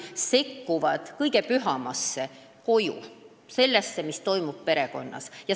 Nad sekkuvad kõige pühamasse: kodudesse, sellesse, mis toimub perekonnas.